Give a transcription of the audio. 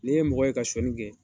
Ne ye mɔgɔ ka sonyali kɛ